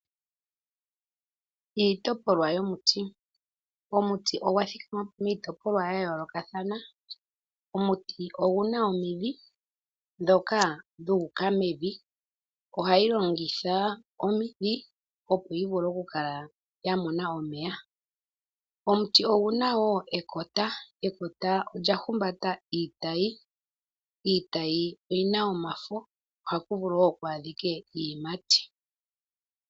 Iitopolwa yomuti. Omuti ogwa thikama po miitopolwa yayolokathana. Omuti oguna omidhi ndhoka dhu uka mevi. Ohagu longitha omidhi opo gu vule okukala gwaamona omeya. Omuti oguna wo ekota. Ekota olya humbata iitayi. Iitayi oyina omafo ohaku vulu wo kwaadhike iiyimati.